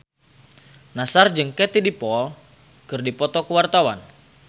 Nassar jeung Katie Dippold keur dipoto ku wartawan